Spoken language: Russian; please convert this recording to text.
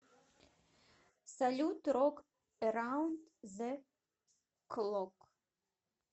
салют рок эраунд зе клок